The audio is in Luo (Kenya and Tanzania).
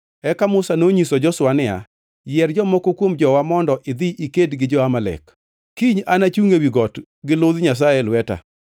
Eka Musa nonyiso Joshua niya, “Yier jomoko kuom jowa mondo idhi iked gi jo-Amalek. Kiny anachungʼ ewi got gi ludh Nyasaye e lweta.”